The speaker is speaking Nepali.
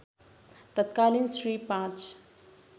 तत्कालीन श्री ५